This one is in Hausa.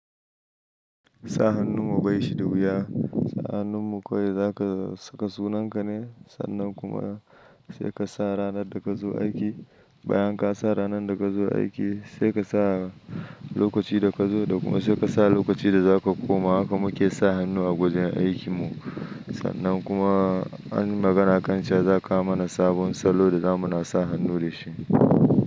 Sa hannun mu bai shi da wuya. Sa hannun mu kawai za ka saka sunan ka ne. Sannan kuma sai ka sa ranar da ka zo aiki. Bayan ka sa ranan da ka zo aiki sai ka sa lokaci da ka zo da kuma sai ka sa lokaci da za ka koma. Haka mu ke sa hannu a gwajen aikin mu. Sannan kuma anyi magana kan cewa za kawo mana sabon salo da za mu na sa hannu da shi.